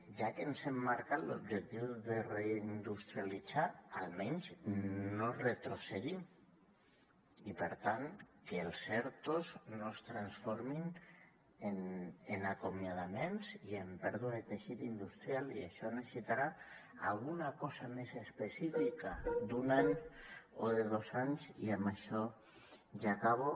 ja que ens hem marcat l’objectiu de reindustrialitzar almenys no retrocedim i per tant que els ertos no es transformin en acomiadaments i en pèrdua de teixit industrial i això necessitarà alguna cosa més específica d’un any o de dos anys i amb això ja acabo